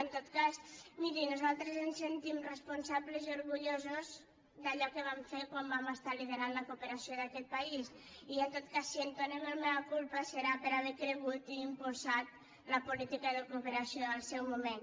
en tot cas miri nosaltres ens sentim responsables i orgullosos d’allò que vam fer quan vam estar liderant la cooperació d’aquest país i en tot cas si entonem el mea culpa serà per haver cregut i impulsat la política de cooperació al seu moment